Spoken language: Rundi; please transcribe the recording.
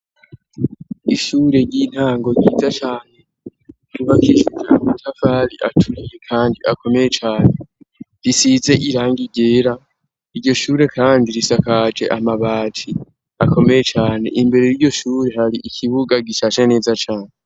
Ishure ry'intango ryiza cane rubakishije amatafari aturiye kandi akomeye cane risize irangi ryera, iryo shure kandi risakaje amabati akomeye cane, imbere y'iryo shure hari ikibuga gishashe neza cane.